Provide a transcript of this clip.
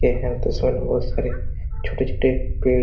यह तस्वीर में बहुत सारी छोटे-छोटे पेड़ ---